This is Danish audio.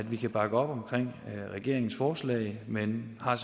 vi kan bakke op om regeringens forslag men har